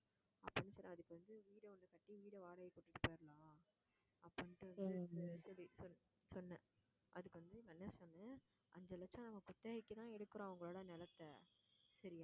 அப்படின்னு சொன்னேன் அதுக்கு வந்து வீட வந்து கட்டி வீட்டை வாடகைக்கு விட்டுட்டு போயிரலாம் அப்படின்னுட்டு வந்து சொல்லி சொ~ சொன்னேன் அதுக்கு வந்து நான் என்ன சொன்னேன் அஞ்சு லட்சம் நம்ம குத்தகைக்குதான் எடுக்கிறோம் அவங்களோட நிலத்தை சரியா